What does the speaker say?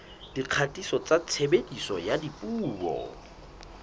dikgatiso tsa tshebediso ya dipuo